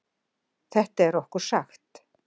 Þetta er okkur sagt